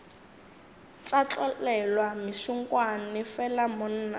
tša tlolelwa mešunkwane fela monna